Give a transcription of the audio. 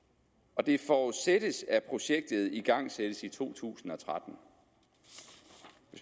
og det forudsættes at projektet igangsættes i to tusind og tretten hvis